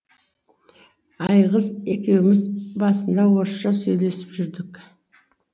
айгиз екеуіміз басында орысша сөйлесіп жүрдік